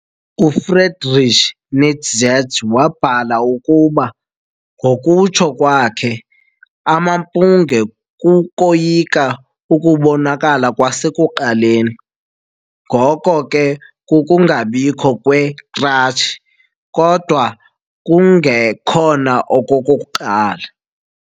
UFriedrich Nietzsche wabhala ukuba, ngokutsho kwakhe, " "amampunge kukoyika ukubonakala kwasekuqaleni- ngoko ke kukungabikho kwekratshi, kodwa kungekhona okokuqala" ".